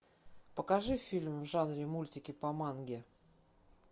покажи фильм в жанре мультики по манге